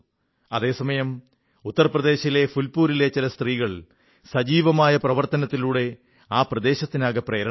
അതേസമയം ഉത്തർപ്രദേശിലെ ഫുൽപൂരിലെ ചില സ്ത്രീകൾ സജീവമായ പ്രവർത്തനത്തിലൂടെ ആ പ്രദേശത്തിനാകെ പ്രേരണയായി